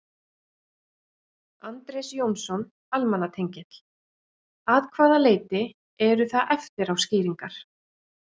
Andrés Jónsson, almannatengill: Að hvaða leyti eru það eftirá skýringar?